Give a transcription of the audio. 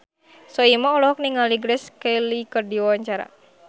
Soimah olohok ningali Grace Kelly keur diwawancara